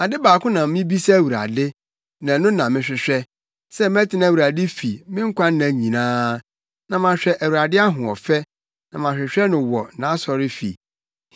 Ade baako na mibisa Awurade; na ɛno na mehwehwɛ; sɛ mɛtena Awurade fi me nkwanna nyinaa, na mahwɛ Awurade ahoɔfɛ na mahwehwɛ no wɔ nʼasɔrefi.